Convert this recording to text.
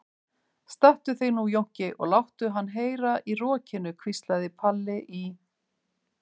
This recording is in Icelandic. Stattu þig nú Jónki og láttu hann heyra í rokinu, hvíslaði Palli í